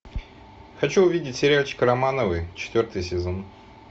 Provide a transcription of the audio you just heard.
хочу увидеть сериальчик романовы четвертый сезон